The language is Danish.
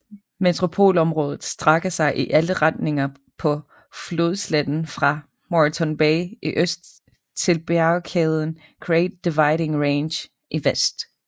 Metropolområdet strækker sig i alle retninger på flodsletten fra Moreton Bay i øst til bjergkæden Great Dividing Range i vest